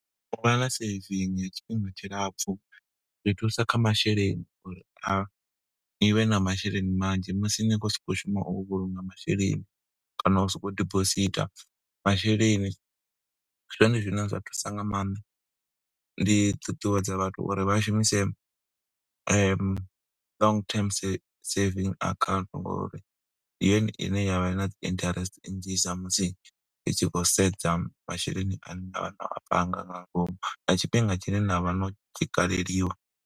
U vha na saving ya tshifhinga tshilapfu, zwi thusa kha masheleni uri a, ni vhe na masheleni manzhi musi ni khou sokou shuma u vhulunga masheleni, kana u soko u dibositha masheleni. Ndi zwone zwine zwa thusa nga maanḓa. Ndi ṱuṱuwedza vhathu uri vha shumise long term savings account ngo uri ndi yone ine yavha na dzi interest nnzhisa, musi ri tshi khou sedza masheleni ane na vha no a panga nga ngomu, na tshifhinga tshine na vha no tshi kaleliwa.